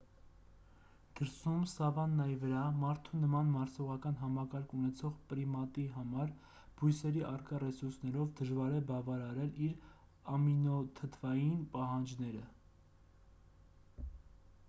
դրսում սավաննայի վրա մարդու նման մարսողական համակարգ ունեցող պրիմատի համար բույսերի առկա ռեսուրսներով դժվար է բավարարել իր ամինոթթվային պահանջները